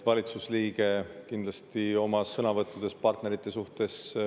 Valitsusliige peab kindlasti oma sõnavõttudes olema partnerite suhtes täpne.